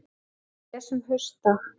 Við lesum Haustdag